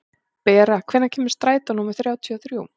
Bera, hvenær kemur strætó númer þrjátíu og þrjú?